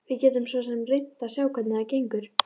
Við getum svo sem reynt að sjá hvernig það gengur.